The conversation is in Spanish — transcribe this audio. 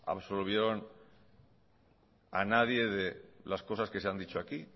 absolvieron a nadie de las cosas que se han dicho aquí